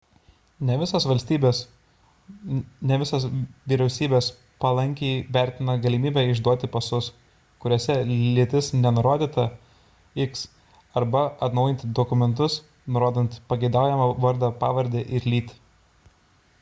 ne visos vyriausybės palankiai vertina galimybę išduoti pasus kuriuose lytis nenurodyta x arba atnaujinti dokumentus nurodant pageidaujamą vardą pavardę ir lytį